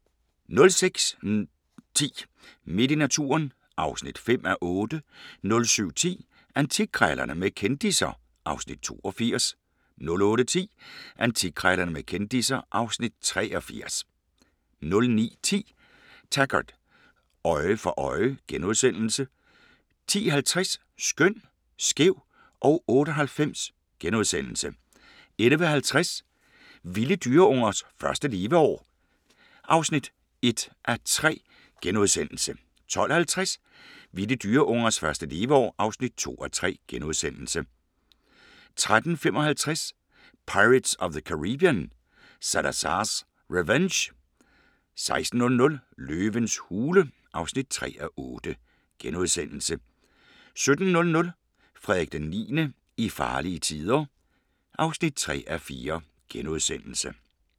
06:10: Midt i naturen (5:8) 07:10: Antikkrejlerne med kendisser (Afs. 82) 08:10: Antikkrejlerne med kendisser (Afs. 83) 09:10: Taggart: Øje for øje * 10:50: Skøn, skæv og 98 * 11:50: Vilde dyreungers første leveår (1:3)* 12:50: Vilde dyreungers første leveår (2:3)* 13:55: Pirates of the Caribbean: Salazar's Revenge 16:00: Løvens hule (3:8)* 17:00: Frederik IX – i farlige tider (3:4)*